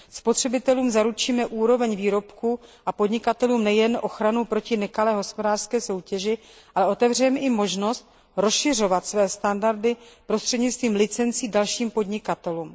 Spotřebitelům zaručíme úroveň výrobků a podnikatelům nejen ochranu proti nekalé hospodářské soutěži, ale otevřeme i možnost rozšiřovat své standardy prostřednictvím licencí dalším podnikatelům.